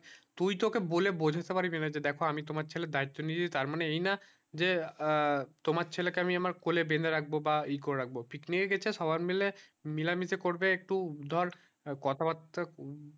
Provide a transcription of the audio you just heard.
তুই তো ওকে বলে বোঝাতে পারবি না যে দেখো আমি তোমার ছেলে দায়িত্ব নিয়েছি তার মানে এই না যে আহ তোমার ছেলে কে আমি আমার কোলে বেঁধে রাখবো বা ই করে রাখবো picnic এ গেছে সবাই মিলে মিলেমিশে করবে একটু ধর কথা বার্তা